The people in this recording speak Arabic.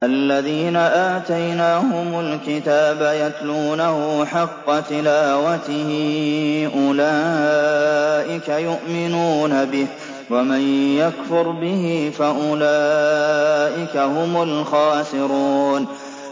الَّذِينَ آتَيْنَاهُمُ الْكِتَابَ يَتْلُونَهُ حَقَّ تِلَاوَتِهِ أُولَٰئِكَ يُؤْمِنُونَ بِهِ ۗ وَمَن يَكْفُرْ بِهِ فَأُولَٰئِكَ هُمُ الْخَاسِرُونَ